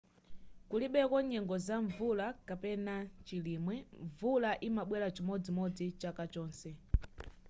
kulibeko nyengo za mvula kapena chilimwe mvula imabwela chimodzimodzi chaka chonse